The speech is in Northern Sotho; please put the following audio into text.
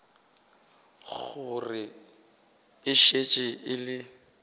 gore e šetše e le